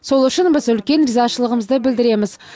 сол үшін біз үлкен ризашылығымызды білдіреміз